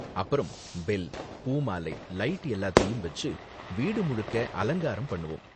அப்பறம் பெல், பூ மாலை, லைட் எல்லாத்தையும் வெச்சு வீடு முழுக்க அலங்காரம் பண்ணுவோம்.